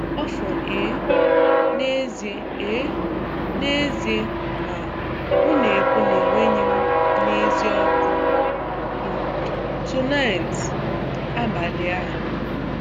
"Ọfọn, ee, n'ezie, ee, n'ezie, ma, m na-ekwu na enweghị m n'ezie ọkụ" "Tonight?""Abalị a?"